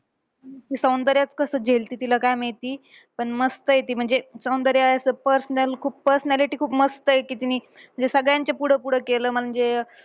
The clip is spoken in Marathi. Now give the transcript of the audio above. सौंदर्याचं कसं झेलती तिला काय माहिती. पण मस्तंय आहे ती. म्हणजे सौंदर्या असं personal खूप personality खूप मस्तंय, कि तिने सगळ्यांच्या पुढं पुढं केलं. म्हणजे